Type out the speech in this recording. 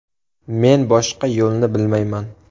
Men boshqa yo‘lni bilmayman.